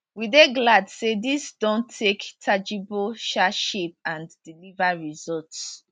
we dey glad say dis don take tangible um shape and deliver results